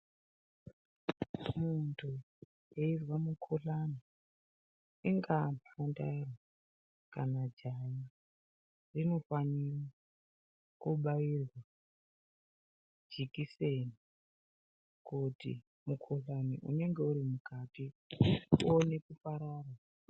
Muntu eizwa mukhuhlani ingaa mhandara kana jaha rinofanire kobairwa jekiseni kuti mukhuhlani unenge uri mukati uine kuparara.